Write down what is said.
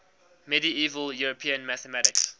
medieval european mathematics